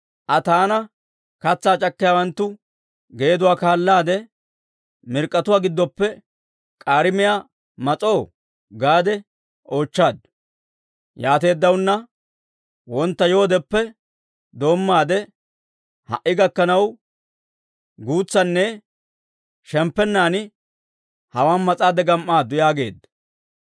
Aa taana, ‹Katsaa c'akkiyaawanttu geeduwaa kaallaade pochchatuwaa gidduwaappe k'aarimiyaa mas'oo?› gaade oochchaaddu. Yaateeddaana wontta yoodeppe doommaade ha"i gakkanaw, guutsaanne shemppennan hawaan mas'aadde gam"aaddu» yaageedda.